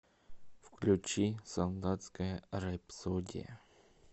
включи солдатская рэпсодия